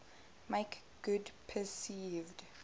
make good perceived